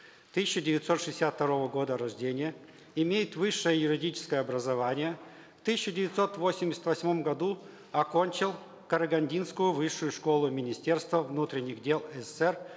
тысяча девятьсот шестьдесят второго года рождения имеет высшее юридическое образование в тысяча девятьсот восемьдесят восьмом году окончил карагандинскую высшую школу министерства внутренних дел сср